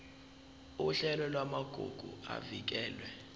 uhlelo lwamagugu avikelwe